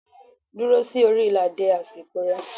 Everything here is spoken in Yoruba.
Duro si ori ila de asiko re